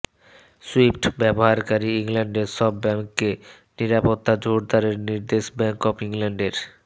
Swift ব্যবহারকারী ইংল্যান্ডের সব ব্যাংককে নিরাপত্তা জোরদারের নির্দেশ ব্যাংক অব ইংল্যান্ডের